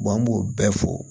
an b'o bɛɛ fɔ